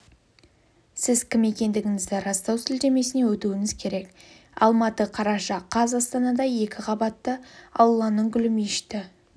сіз кім екендігіңізді растау сілтемесіне өтуіңіз керек алматы қараша қаз астанада екі қабатты алланың гүлі мешіті